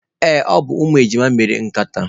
Ee, ọ bụ umu ejima mere nkata.